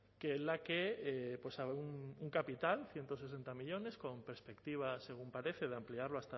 que en la que un capital ciento sesenta millónes con perspectiva según parece de ampliarlo